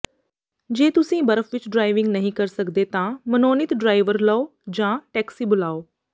ਜੇ ਤੁਸੀਂ ਬਰਫ ਵਿਚ ਡ੍ਰਾਇਵਿੰਗ ਨਹੀਂ ਕਰ ਸਕਦੇ ਤਾਂ ਮਨੋਨੀਤ ਡ੍ਰਾਈਵਰ ਲਓ ਜਾਂ ਟੈਕਸੀ ਬੁਲਾਓ